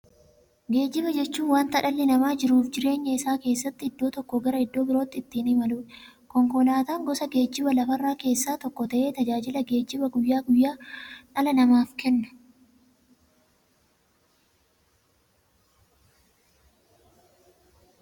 Geejjiba jechuun wanta dhalli namaa jiruuf jireenya isaa keessatti iddoo tokkoo gara iddoo birootti ittiin imaluudha. Konkolaatan gosa geejjibaa lafarraa keessaa tokko ta'ee, tajaajila geejjibaa guyyaa guyyaan dhala namaaf kenna.